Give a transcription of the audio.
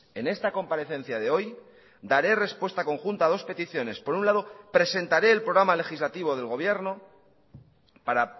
en esta comparecencia de hoy daré respuesta conjunta a dos peticiones por un lado presentaré el programa legislativo del gobierno para